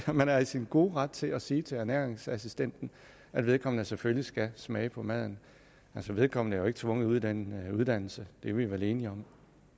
man er i sin gode ret til at sige til ernæringsassistenten at vedkommende selvfølgelig skal smage på maden altså vedkommende er jo ikke tvunget uddannelse det er vi vel enige om